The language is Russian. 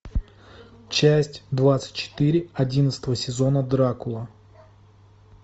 часть двадцать четыре одиннадцатого сезона дракула